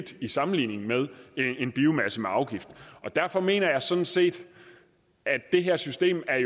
i sammenligning med en biomasse med afgift derfor mener jeg sådan set at det her system er